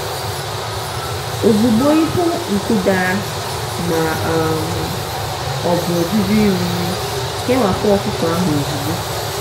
ozugbo ị hụ nku dara ma um ọ bụ ọjụjụ iri nri kewapụ ọkụkọ ahụ ozugbo.